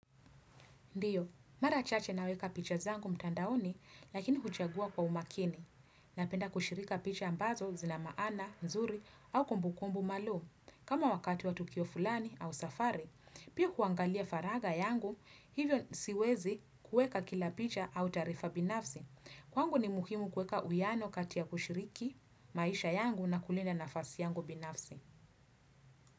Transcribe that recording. Ndiyo, mara chache naweka picha zangu mtandaoni, lakini kuchagua kwa umakini. Napenda kushirika picha ambazo zina maana, nzuri, au kumbukumbu malo. Kama wakati wa tukio fulani au safari, pia huangalia faragha yangu, hivyo siwezi kuweka kila picha au taarifa binafsi. Kwangu ni muhimu kuweka uwiano kati ya kushiriki maisha yangu na kulinda nafasi yangu binafsi.